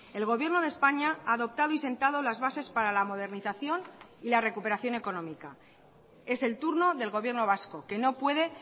el gobierno de españa ha adoptado y sentado las bases para la modernización y la recuperación económica es el turno del gobierno vasco que no puede